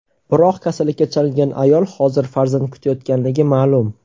Biroq kasallikka chalingan ayol hozir farzand kutayotganligi ma’lum.